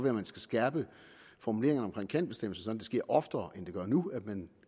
at man skal skærpe formuleringerne omkring kan bestemmelser sådan at det sker oftere end det gør nu at man